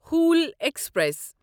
Howrah express